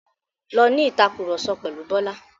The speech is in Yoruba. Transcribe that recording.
Lọ ní ìtàkurọ̀sọ pẹ̀lu Bọ́lá.